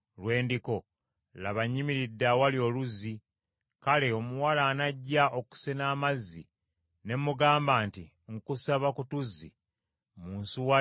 laba, nnyimiridde awali oluzzi, kale omuwala anajja okusena amazzi, ne mugamba nti, “Nkusaba ku tuzzi mu nsuwa yo nyweko,”